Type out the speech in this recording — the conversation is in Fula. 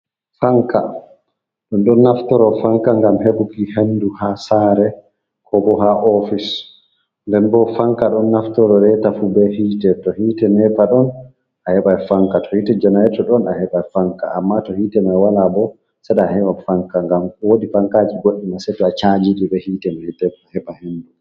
Fanka, ɗon ɗon naftoro Fanka ngam heɓuki henndu haa saare koo boo haa oofis, nden boo Fanka ɗon naftoro reeta fu bee hiite to hiite neepa ɗon a heɓay Fanka, to hiite Janareeto ɗon a heɓay Fanka, amma to hiite may walaa boo, saɗaa a heɓa Fanka ngam woodi Fankaaji goɗɗi maa seto a caaji ɗi bee hiite neepa a heɓa henndu.